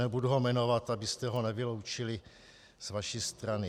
Nebudu ho jmenovat, abyste ho nevyloučili z vaší strany.